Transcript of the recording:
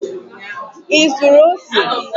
Ị zụrụ ose?